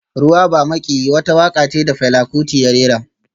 Ruwa ba maƙiyi wata waƙa ce da Fela Kuti ya rera